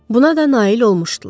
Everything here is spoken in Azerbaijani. Buna da nail olmuşdular.